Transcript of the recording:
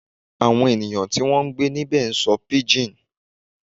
Àwọn ènìyàn tí wọ́n ń gbé níbẹ̀ ń sọ̀rọ̀ pidgin